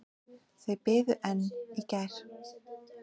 Þau biðu enn í gær.